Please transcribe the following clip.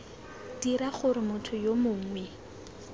dira gore motho yo mongwe